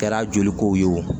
Kɛra joli kow ye wo